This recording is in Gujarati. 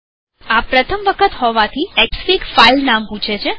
આ પ્રથમ વખત હોવાથીએક્સફીગ ફાઈલનામ પૂછે છે